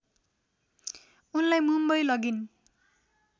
उनलाई मुम्बई लगिन्